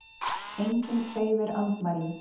Enginn hreyfir andmælum.